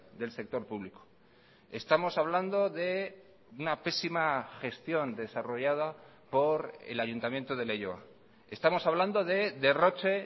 del sector público estamos hablando de una pésima gestión desarrollada por el ayuntamiento de leioa estamos hablando de derroche